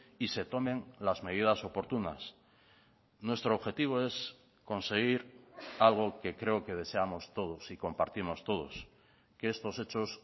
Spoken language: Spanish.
y se tomen las medidas oportunas nuestro objetivo es conseguir algo que creo que deseamos todos y compartimos todos que estos hechos